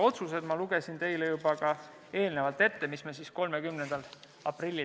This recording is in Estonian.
Otsused ma lugesin teile juba eelnevalt ette, need me tegime 30. aprillil.